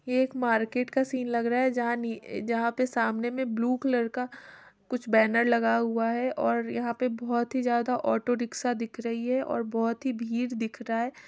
ये एक market scene लग रहा है जहाँ नी जहाँ पे सामने में ब्लू कलर का कुछ बैनर लगा हुआ है और यहाँ पे बहोत ही ज्यादा ऑटो रिक्शा दिख रही है और बहोत ही भीड़ दिख रहा है।